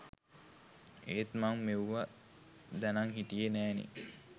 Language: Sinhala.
ඒත් මං මෙව්වා දැනං හිටියෙ නෑනෙ.